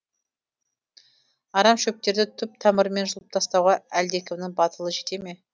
арамшөптерді түп тамырымен жұлыптастауға әлдекімнің батылы жете ме